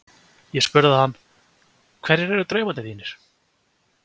Ég spurði hann: Hverjir eru draumar þínir?